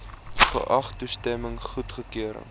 geag toestemming goedkeuring